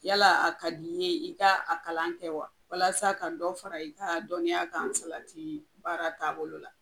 Yala a ka di ne ye i ka a kalan kɛ wa ,walasa ka dɔ fara i ka dɔnniya kan salati baara taabolo la?